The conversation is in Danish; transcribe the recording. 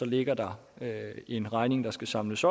ligger der en regning der skal samles